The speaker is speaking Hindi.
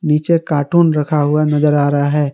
नीचे कार्टून रखा हुआ नजर आ रहा है।